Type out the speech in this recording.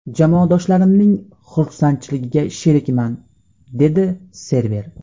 Jamoadoshlarimning xursandchiligiga sherikman”, − deydi Server.